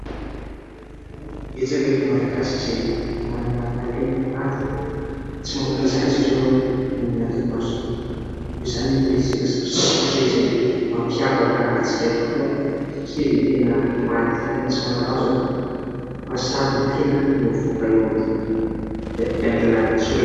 Betsaka ireo malagasy izay manana talenta maro tsy mamoaka izany izy ireo nohon'ny antony maro samihafa ; izany ny resaka sary sikotra izay mampiavaka antsika tokoa satria dia tena mahaliana sy mahatalanjona fa sary no tena no mivoaka eo aminy vita amin'ny alalan'ny soratra.